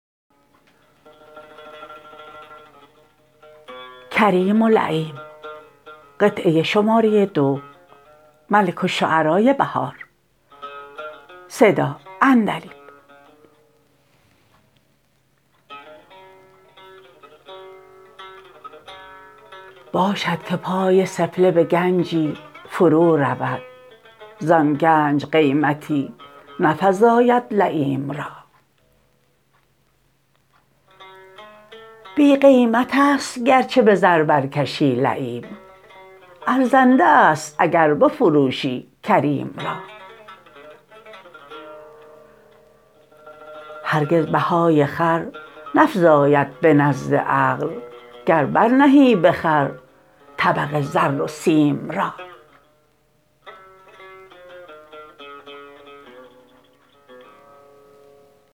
باشدکه پای سفله به گنجی فرو رود زان گنج قیمتی نفزاید لییم را بی قیمت است گرچه به زر برکشی لییم ارزنده است اگر بفروشی کریم را هرگز بهای خر نفزاید به نزد عقل گر برنهی به خر طبق زر و سیم را